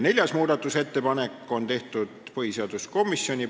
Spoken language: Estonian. Neljanda muudatusettepaneku on teinud põhiseaduskomisjon.